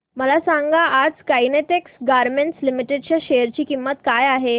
मला सांगा आज काइटेक्स गारमेंट्स लिमिटेड च्या शेअर ची किंमत काय आहे